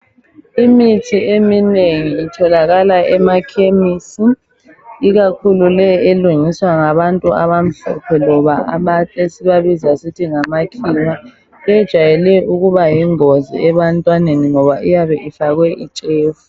Imithi eminengi itholakala emakhemisi ikakhulu leyi elungiswa ngabantu abamhlophe loba ama... esibabiza ngokuthi ngamakhiwa, ejwayele ukuba yingozi abantwaneni ngoba iyabe ifakwe itshefu.